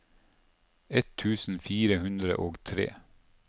ett tusen fire hundre og tre